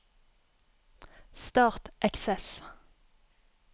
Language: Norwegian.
Start Access